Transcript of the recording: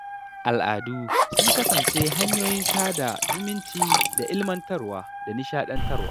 Al’adu sun kasance hanyoyin sada zumunci da ilmantarwa da nishaɗantarwa.